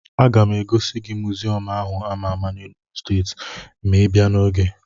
A ga m egosi gị mụziọmụ áhù a àmá n'Enugwu stééti, ma ibiá n'ogè